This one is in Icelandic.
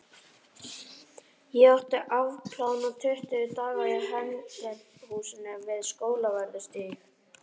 Ég átti að afplána tuttugu daga í Hegningarhúsinu við Skólavörðustíg.